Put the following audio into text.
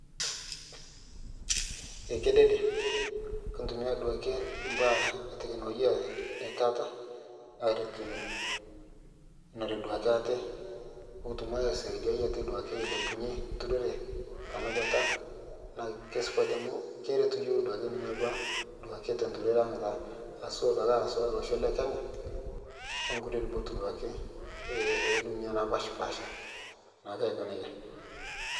kedede kintumia duake mbaa eteknologia etaata aretunore duake atee pukutum aisiadiai duake ate ailepunye nturoree tanabata naa keisupat amu keretu yooh duake nenia baa duake te nturore aang taa haswa duake haswa losho le kenya onkulie lubot duake edunia napashpaasha naake aiko neja